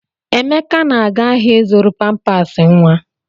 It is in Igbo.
Emeka na-aga ahịa ịzụrụ pampas nwa.